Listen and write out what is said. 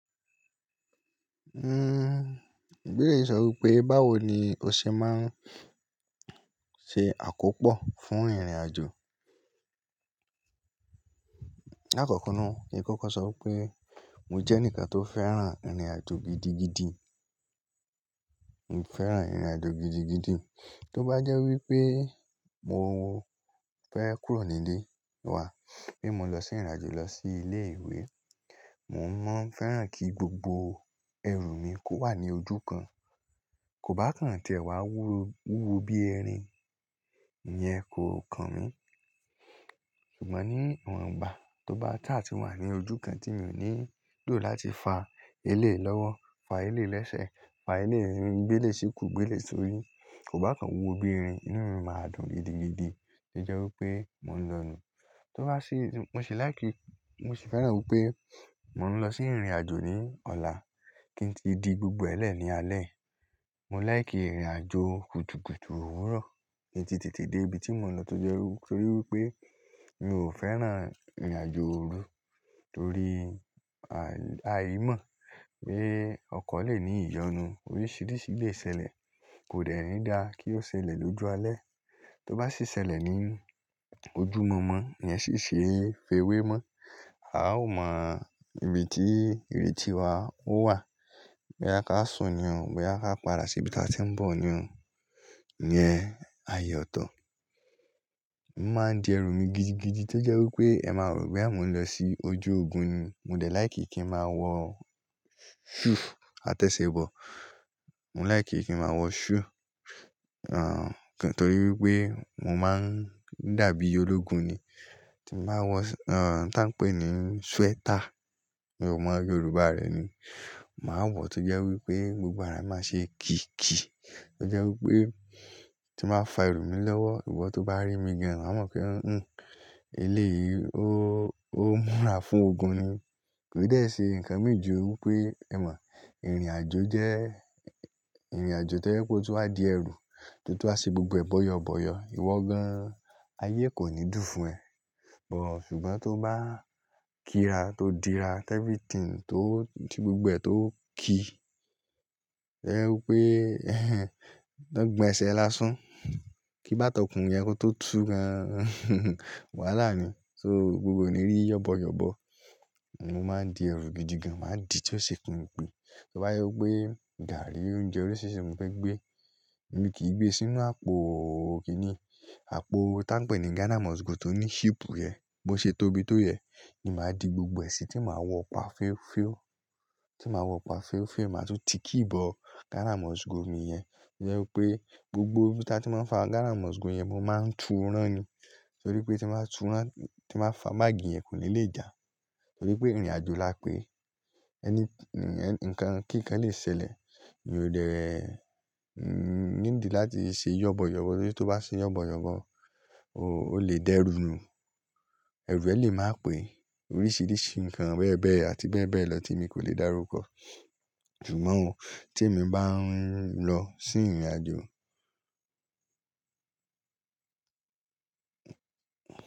Ìbéèrè sọ wípé báwo ni o ṣe máa ń ṣe àkópò fún ìrìnàjò. Láàkókò náà, ẹ kọ́kọ́ sọ wípé mò jẹ́ ẹnìkan tó fẹ́ràn ìrìnàjò gidigidi. Mo fẹ́ràn ìrìnàjò gidigidi. Tó bá jẹ́ wípé mo fẹ́ kúrò nílé wá, bí mo lọ sí ìrìnàjò lọ sí ilé ìwé, mò ń mọ́ fẹ́ràn kí gbogbo ẹrù mi kó wà ní ojú kan. Kò bá kàn tí ẹ́ wá wúwo bí ẹrin, ìyẹn kò kan mi. Ṣùgbọ́n ní iwọn ìgbà tó bá tà tí wà ní ojú kan tí mi ò nílò láti fa elé lọ́wọ́, fa elé lẹ́sẹ̀, fa elé ńrin gbélé síkùú, gbélé sórí, kò bá kàn wúwo bí ẹrin, inú mi máa dùn gidigidi tí jẹ́ wípé mò ń lọ nù. Tó bá sí, mo sì láì kí, mo sì fẹ́ràn wípé mò ń lọ sí ìrìnàjò ní ọ̀la kí ń ti di gbogbo ẹlẹ́ ní alẹ́. Mo láì kí ìrìnàjò kùtùkùtù òwúrọ̀ kí n ti tètè dé ibi tí mò ń lọ torí wípé mi ò fẹ́ràn ìrìnàjò òru torí, aàìmọ̀ pé ọkọ lè ní ìyọnu oríṣìíríṣìí lè ṣẹlẹ̀. Kò dẹ́ ní dá kí ó ṣẹlẹ̀ lójú alẹ́. Tó bá sì ṣẹlẹ̀ ní ojú mọ̀ọ́mọ́, ìyẹn sì ṣe fèwe mó. A o mọ ibi tí, ibi tí wa ó wà. Bóyá ká sùn ni o, bóyá ká padà sí ibi tí a ti ń bọ̀ ni o, ìyẹn ààyò ọ̀tọ̀. Mo máa ń di ẹrù mi gidigidi to jẹ́ wípé ẹ máa rò pé àmo ń lọ sí ojú ogun ni. Mo dẹ̀ láì kí kí n máa wọ shoe àtẹ̀ṣẹ̀ bọ̀. Mo láì kí kí n máa wọ shoe, torí wípé mò ń dàbí ológun ni. Tí ń bàá wọ, tí a ń pè ní sweater, mi ò mọ Yorùbá rẹ ni. Màá wọ̀ tó jẹ́ wípé gbogbo ara máa ṣe kìkì. To jẹ́ wípé tí ń bàá fa ẹrù mi lọ́wọ́, ìwọ tó bá rí mi gan, wáa mọ̀ pé, eléyi ó, ó múra fún ogun ni." Kò dẹ́ṣẹ nǹkan míì ju wípé, ẹ mọ̀, ìrìnàjò jẹ́, ìrìnàjò tó jẹ́ pé ó tó wá di ẹrù, tó tó wá ṣe gbogbo ẹ bọ́yọbọ́yọ, ìwọ gan, ayé kò ní dùn fún ẹ. Ọ̀, ṣùgbọ́n tó bá kíra tó dira, everything tó ti gbogbo ẹ tó ki. To jẹ wípé, tọ gbọn ẹsẹ̀ lásán. Ki bá tọkùn yẹn kó tó tú gan. Wàhálà ni. So gbogbo òní rí yọ̀bọ̀yọ̀bọ̀. Mo máa ń di ẹrù gidigan, màá dì tí ó ṣe kùn-ún-ún gbí. Tó bá jẹ́ wípé gààrí, oúnjẹ oríṣiríṣi mo fẹ́ gbé, èmi kì í gbé sínú àpò kìn-ín-ní. Àpò tá ń pè ní Ghana must go tó ní ship rẹ̀, bó ṣe tóbi tó yẹn ni màá di gbogbo ẹ síi tí màá wọ ọ̀pá fẹ́ẹ́fẹ́ o. Tí màá wọ ọ̀pá fẹ́ẹ́fẹ́, màá tún ti kì í bọ Ghana must go mi yẹn. Ọ̀ jẹ́ wípé gbogbo ojú tí màá fa Ghana must go yẹn, mo máa ń tú rán ni. Torí pé tí màá tú rán, tí ń bàá fa báàgì yẹn kò ní lè jà. Torí pé ìrìnàjò la pé ẹni, ẹ̀, nǹkan kíkan lè ṣẹlẹ̀. Mi ò dẹ́, nídi láti ṣe yọ̀bọ̀yọ̀bọ̀ torí tí ó bá ṣe yọ̀bọ̀yọ̀bọ̀, o lè dẹrùnnu. Ẹrù ẹ lè máa pè oríṣìíríṣìí ǹkan bẹ́ẹ̀bẹ́ẹ̀ àti bẹ́ẹ̀bẹ́ẹ̀ lọ tí mi kò lè dárúkọ. Ṣùgbọ́n tí èmi bá ń lọ sí ìrìnàjò.